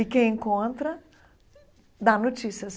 E quem encontra, dá notícias.